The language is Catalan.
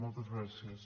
moltes gràcies